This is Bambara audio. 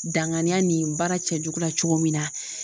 Danganiya nin baara cɛjugu la cogo min na.